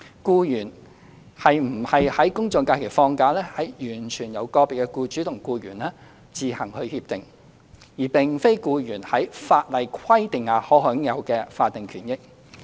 僱員是否在公眾假期放假，完全由個別僱主與僱員自行協定，而並非僱員在法例規定下可享有的法定權益。